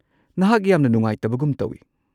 ꯅꯍꯥꯛ ꯌꯥꯝꯅ ꯅꯨꯡꯉꯥꯏꯇꯕꯒꯨꯝ ꯇꯧꯋꯤ꯫